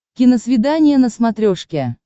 киносвидание на смотрешке